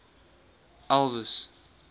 elvis